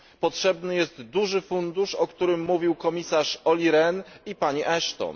Potrzebny jest duży fundusz, o którym mówił komisarz Oli Rehn i pani Ashton.